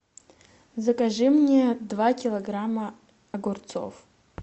закажи мне два килограмма огурцов